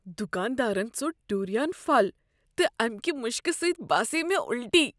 دکاندارن ژوٚٹ ڈوریان پھل تہٕ امہ کہ مشکہ سٕتۍ باسیٛیہ مےٚ الٹی۔